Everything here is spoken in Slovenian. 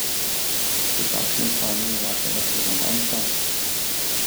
V kakšnem stanju je vaša reprezentanca?